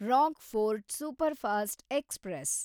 Rockfort superfast express